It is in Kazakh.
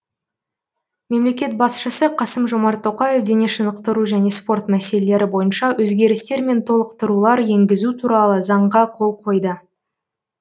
мемлекет басшысы қасым жомарт тоқаев дене шынықтыру және спорт мәселелері бойынша өзгерістер мен толықтырулар енгізу туралы заңға қол қойды